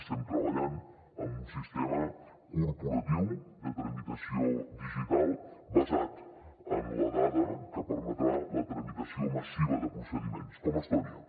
estem treballant en un sistema corporatiu de tramitació digital basat en la dada que permetrà la tramitació massiva de procediments com a estònia